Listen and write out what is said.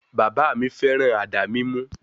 Bàbà mi féràn àdá mímú.